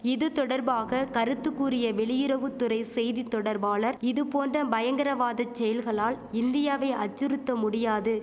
இது தொடர்பாக கருத்துக்கூறிய வெளியிறவுத்துறை செய்தி தொடர்பாளர் இது போன்ற பயங்கரவாத செயல்களால் இந்தியாவை அச்சுறுத்த முடியாது